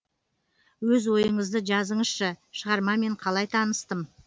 өз ойыңызды жазыңызшы шығармамен қалай таныстым